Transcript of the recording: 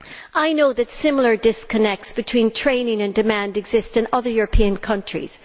I know that similar disconnects between training and demand exist in other European countries.